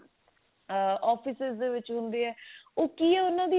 ah offices ਦੇ ਵਿੱਚ ਹੁੰਦੇ ਆ ਉਹ ਕੀ ਉਹਨਾਂ ਦੀ